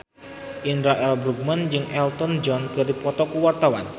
Indra L. Bruggman jeung Elton John keur dipoto ku wartawan